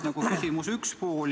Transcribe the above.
See on küsimuse esimene pool.